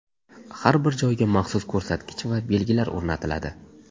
Har bir joyga maxsus ko‘rsatgich va belgilar o‘rnatiladi.